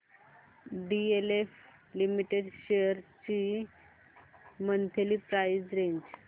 DLF limited shares ची monthly price range